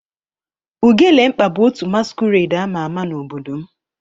Ugelemkpa bu otu masquerade ama ama n'obodo m.